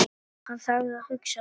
Hann þagði og hugsaði.